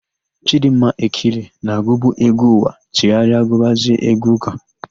Chịdịmma Ekile na-agụbu égwú ụwa chegharịrị gụbazie égwú ụ́kà.